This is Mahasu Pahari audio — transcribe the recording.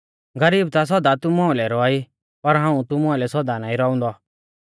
कैलैकि गरीब ता सौदा तुमु आइलै रौआ ई पर हाऊं तुमु आइलै सौदा नाईं रौउंदौ